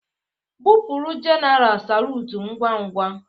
Gbụpụrụ jenaral salutu ngwa ngwa!